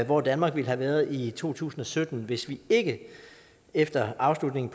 hvor danmark ville have været i to tusind og sytten hvis vi ikke efter afslutningen